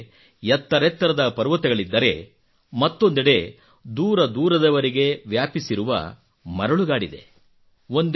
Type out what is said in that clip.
ಒಂದುಕಡೆ ಎತ್ತರೆತ್ತರದ ಪರ್ವತಗಳಿದ್ದರೆ ಮತ್ತೊಂದೆಡೆ ದೂರದೂರದವರೆಗೆ ವ್ಯಾಪಿಸಿರುವ ಮರಳುಗಾಡಿದೆ